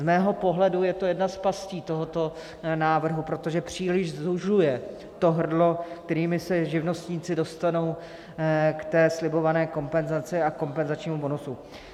Z mého pohledu je to jedna z pastí tohoto návrhu, protože příliš zužuje to hrdlo, kterými se živnostníci dostanou k té slibované kompenzaci a kompenzačnímu bonusu.